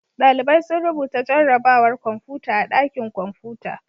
Ɗalibai sun rubuta jarrabawar kwamfuta a ɗakin kwamfuta.